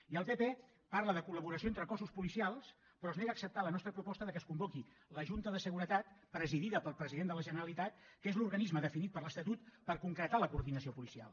i el pp parla de col·laboració entre cossos policials però es nega a acceptar la nostra proposta que es convoqui la junta de seguretat presidida pel president de la generalitat que és l’organisme definit per l’estatut per concretar la coordinació policial